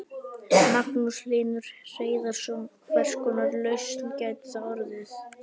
Magnús Hlynur Hreiðarsson: Hvers konar lausn gæti það orðið?